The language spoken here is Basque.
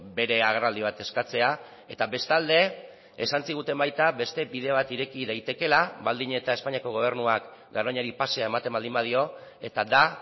bere agerraldi bat eskatzea eta bestalde esan ziguten baita beste bide bat ireki daitekeela baldin eta espainiako gobernuak garoñari pasea ematen baldin badio eta da